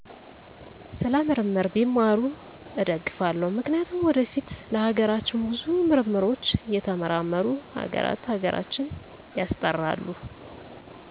ስለ ምርምር ቢማሩ እደግፋለው ምክንያቱም ወደፊት ለሀገራችን ብዙ ምርምሮች እየተመራመሩ ሀገራተ ሀገራችን ያስጠራሉ